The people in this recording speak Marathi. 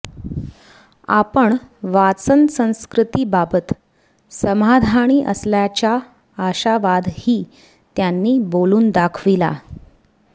आपण वाचन संस्कृतीबाबत समाधानी असल्याचा आशावादही त्यांनी बोलून दाखविला